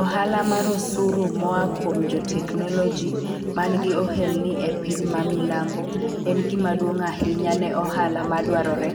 Ohala mar osuru moa kuom jo tekonoloji man gi ohelni e piny ma milambo en gima duong' ahinya ne ohala madwarore